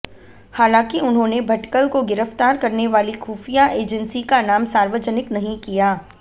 हालांकि उन्होंने भटकल को गिरफ़्तार करने वाली खुफ़िया एजंसी का नाम सार्वजनिक नही किया